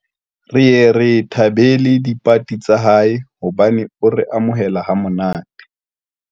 Re ye re thabele dipati tsa hae hobane o re amohela ha monate.